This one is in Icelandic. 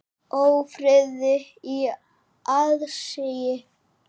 Ófriði í aðsigi.